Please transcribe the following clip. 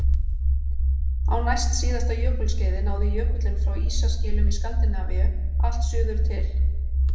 Á næstsíðasta jökulskeiði náði jökullinn frá ísaskilum í Skandinavíu allt suður til